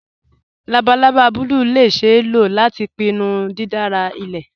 Labalaba bùlùù lè ṣeé ló lati pínnú dídárà ilẹ̀.